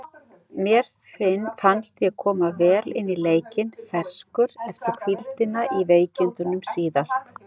Mér fannst ég koma vel inn í leikinn, ferskur eftir hvíldina í veikindunum síðast.